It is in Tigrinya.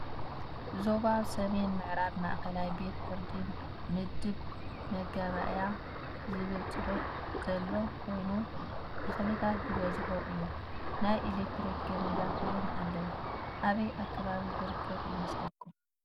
ዞባ ሰሜን ምዕራብ ማእከላይ ቤት ፍርዲ ምድብ መጋባእያ ዝብልፅሑፍ ዘሎ ኮይኑ ተክልታት ዝበዝሖ እዩ። ናይ ኤሌትርክ ገመዳት እውን ኣለው ።ኣበይ ኣከባቢ ዝርከብ ይመስለኩም?